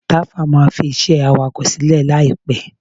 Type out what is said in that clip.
Tàfá máa fiṣẹ́ awakọ̀ sílẹ̀ láìpẹ́.